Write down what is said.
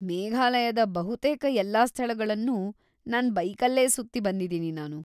ಮೇಘಾಲಯದ ಬಹುತೇಕ ಎಲ್ಲಾ ಸ್ಥಳಗಳ್ನೂ ನನ್ ಬೈಕಲ್ಲೇ ಸುತ್ತಿ ಬಂದಿದೀನಿ ನಾನು.